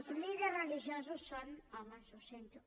els líders religiosos són homes ho sento